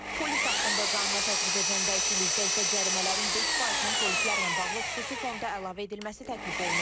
Polis haqqında qanuna təklif edilən dəyişiklikdə isə cərimələrin 5 faizinin polislərlə bağlı xüsusi fonda əlavə edilməsi təklif olunur.